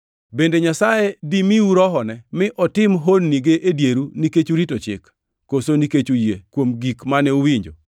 Bende Nyasaye dimiu Rohone mi otim honnige e dieru nikech urito Chik, koso nikech uyie kuom gik mane uwinjo?